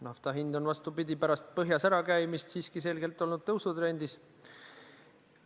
Nafta hind on, vastupidi, pärast põhjas ärakäimist siiski selgelt olnud tõusutrendis.